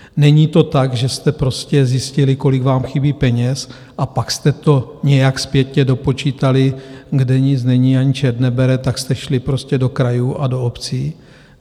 Není to tak, že jste prostě zjistili, kolik vám chybí peněz, a pak jste to nějak zpětně dopočítali - kde nic není, ani čert nebere, tak jste šli prostě do krajů a do obcí?